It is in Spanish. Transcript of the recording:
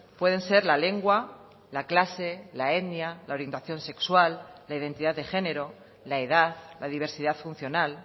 pueden ser la lengua la clase la etnia la orientación sexual la identidad de género la edad la diversidad funcional